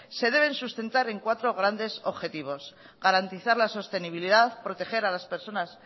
se deben sustentar en cuatro grandes objetivos garantizar la sostenibilidad proteger a las personas